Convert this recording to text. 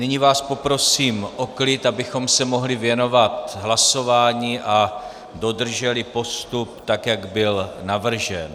Nyní vás poprosím o klid, abychom se mohli věnovat hlasování a dodrželi postup, tak jak byl navržen.